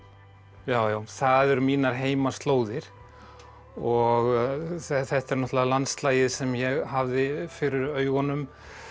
já já það eru mínar heimaslóðir og þetta er náttúrulega landslagið sem ég hafði fyrir augunum